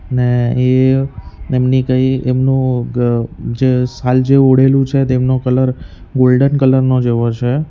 અને એ એમની કઈ એમનું ગ જે સાલ જેવું ઓઢેલું છે તેમનો કલર ગોલ્ડન કલર નો જેવો છે.